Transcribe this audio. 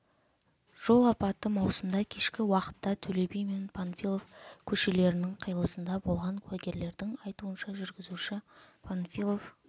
жол апаты маусымда кешкі уақытта төле би мен панфилов көшелерінің қиылысында болған куәгерлердің айтуынша жүргізушісі панфилов